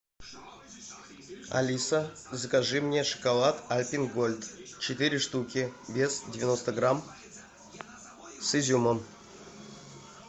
алиса закажи мне шоколад альпен голд четыре штуки вес девяносто грамм с изюмом